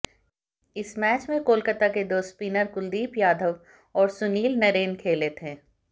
इस मैच में कोलकाता के दो स्पिनर कुलदीप यादव और सुनील नरेन खेले थे